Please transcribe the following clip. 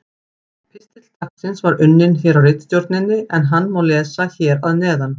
Pistill dagsins var unninn hér á ritstjórninni en hann má lesa hér að neðan: